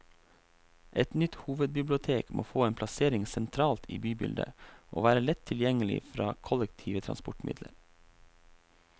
Et nytt hovedbibliotek må få en plassering sentralt i bybildet, og være lett tilgjengelig fra kollektive transportmidler.